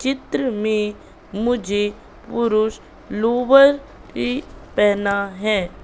चित्र में मुझे पुरुष लोअर ही पहना है।